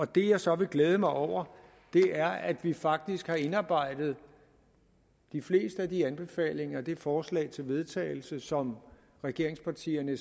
det jeg så vil glæde mig over er at vi faktisk har indarbejdet de fleste af de anbefalinger i det forslag til vedtagelse som regeringspartierne